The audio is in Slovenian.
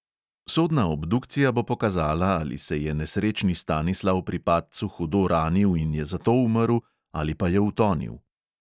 Sodna obdukcija bo pokazala, ali se je nesrečni stanislav pri padcu hudo ranil in je zato umrl ali pa je utonil.